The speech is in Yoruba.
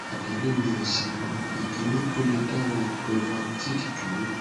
atẹle ni esi mi ikini o le dawọ brevactid duro